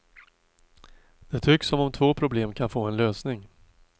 Det tycks som om två problem kan få en lösning.